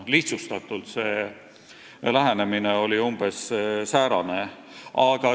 Lihtsustatult öeldes oli see lähenemine umbes säärane.